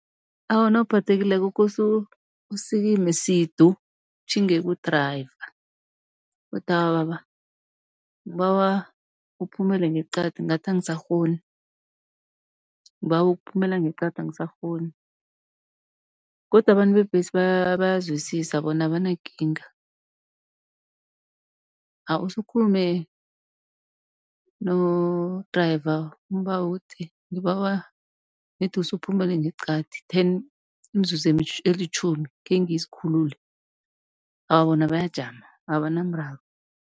Awa, nawuphathekileko kose usikime sidu utjhinge ku-driver, uthi awa baba ngibawa uphumele ngeqadi ngathi angisakghoni, ngibawa ukuphumela ngeqadi angisakghoni. Godu abantu bebhesi bayazwisisa bona abanakinga, awa usukhulume no-driver umbawe uthi, ngibawa nedi usuphumele ngeqadi ten imizuzu elitjhumi khengizikhulule. Awa bona bayajama abanamraro.